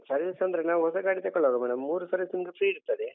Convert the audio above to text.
Service ಅಂದ್ರೆ ನಾವು ಹೊಸ ಗಾಡಿ ತೆಕೊಳ್ಳುವಾಗ madam , ಮೂರು ಸರ್ವೀಸ್ ನಿಮ್ಗೆ free ಇರ್ತದೆ.